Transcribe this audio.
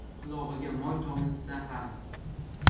Qulog‘iga moy tomizsa ham.